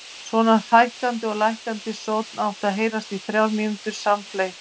Svona hækkandi og lækkandi sónn átti að heyrast í þrjár mínútur samfleytt.